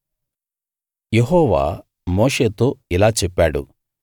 యెహోవా మోషేతో ఇలా చెప్పాడు